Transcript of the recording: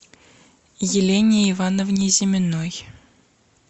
елене ивановне зиминой